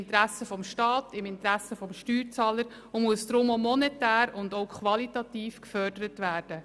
Der Spracherwerb muss deshalb monetär und qualitativ gefördert werden.